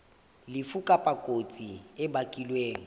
lefu kapa kotsi e bakilweng